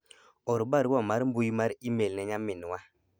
or barua mar mbui mar email ne nyaminwa